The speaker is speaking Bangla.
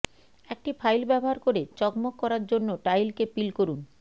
একটি ফাইল ব্যবহার করে চকমক করার জন্য টাইলকে পিল করুন